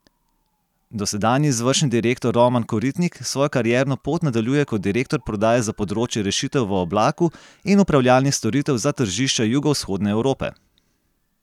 Dosedanji izvršni direktor Roman Koritnik svojo karierno pot nadaljuje kot direktor prodaje za področje rešitev v oblaku in upravljanih storitev za tržišča Jugovzhodne Evrope.